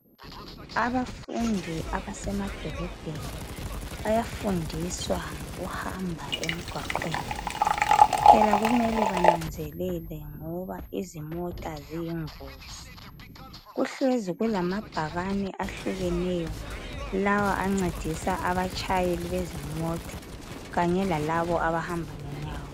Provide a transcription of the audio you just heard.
Abafundi abasemadolobheni bayafundiswa ngokuhamba emgwaqweni. Kuphela kumele bananzelele ngoba imota ziyingozi . Kuhlezi kulamabhakani ehlukeneyo lawa ancedisa abatshayeli bezimota kanye lalabo abahamba ngenyawo.